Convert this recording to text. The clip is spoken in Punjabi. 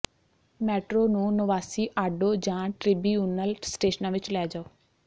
ਮੈਟਰੋ ਨੂੰ ਨੋਵਾਸੀਆਡੋ ਜਾਂ ਟ੍ਰਿਬਿਊਨਲ ਸਟੇਸ਼ਨਾਂ ਵਿੱਚ ਲੈ ਜਾਓ